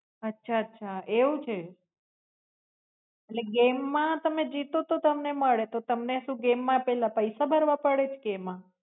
અચ્છા અચ્છા એવું છે એટલે games મા તમે જીતો તો તમને મળે તો games માં પહેલો પૈસા ભરવા પડે છ કે એમાં?